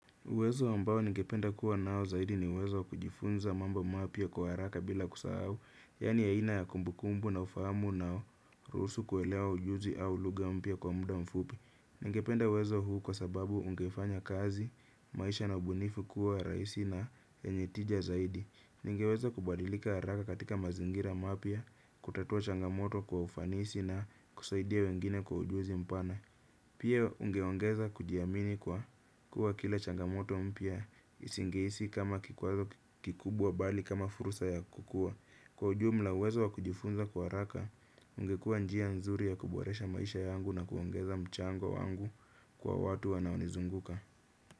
Uwezo ambao ningependa kuwa nao zaidi ni uwezo kujifunza mambo mapya kwa haraka bila kusahau, yani aina ya kumbukumbu na ufahamu unao ruhusu kuelewa ujuzi au lugha mpya kwa muda mfupi. Ningependa uwezo huu kwa sababu ungefanya kazi, maisha na ubunifu kuwa rahisi na yenye tija zaidi. Ningeweza kubadilika haraka katika mazingira mapya, kutatua changamoto kwa ufanisi na kusaidia wengine kwa ujuzi mpana. Pia ungeongeza kujiamini kwa kuwa kila changamoto mpya isingehisi kama kikwazo kikubwa bali kama fursa ya kukua. Kwa ujumla uwezo wa kujifunza kwa haraka, ungekua njia nzuri ya kuboresha maisha yangu na kuongeza mchango wangu kwa watu wanao nizunguka.